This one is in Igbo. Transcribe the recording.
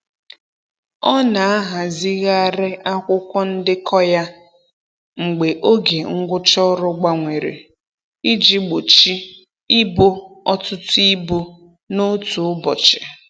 Ọ na-ahazigharị akwụkwọ ndekọ ya mgbe oge ngwụcha ọrụ gbanwere iji gbochi ịbo ọtụtụ ibu n'otu ụbọchị.